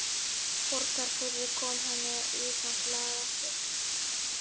Borgarfirði, kom henni í samt lag aftur.